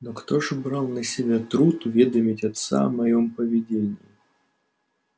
но кто же брал на себя труд уведомить отца о моём поведении